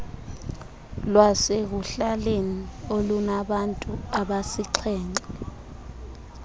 lwasekuhlaleni olunabantu absixhenxe